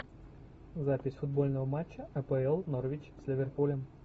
запись футбольного матча апл норвич с ливерпулем